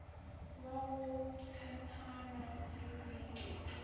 wa go tshepano le boiketlo